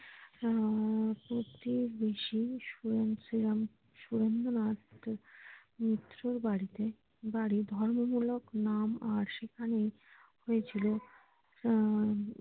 আহ প্রতিবেশী শ্রীরাম সুরেন্দ্রনাথ মিত্রর হম বাড়িতে বাড়ি ধর্ম মূলক নাম আর সেখানেই হয়েছিল আহ